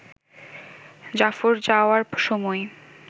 জাফর যাওয়ার সময়